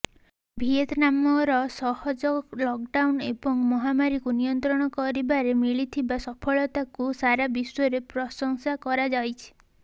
ଭିଏତନାମର ସହଜ ଲକଡାଉନ ଏବଂ ମହାମାରୀକୁ ନିୟନ୍ତ୍ରଣ କରିବାରେ ମିଳିଥିବା ସଫଳତାକୁ ସାରା ବିଶ୍ୱରେ ପ୍ରଶଂସା କରାଯାଇଛି